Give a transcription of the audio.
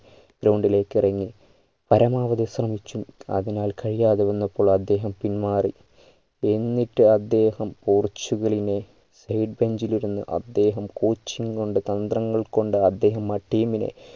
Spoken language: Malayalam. ground ലേക്ക് ഇറങ്ങി പരമാതിരി ശ്രമിച്ചു അതിനാൽ കഴിയാതെ വന്നപ്പോൾ പിൻമാറി എന്നിട്ട് അദ്ദേഹം പോർച്ചുഗലിനെ back bench ഇൽ ഇരുന്ന് അദ്ദേഹം coaching കൊണ്ട് തന്ത്രങ്ങൾ കൊണ്ട് അദ്ദേഹം ആ team നെ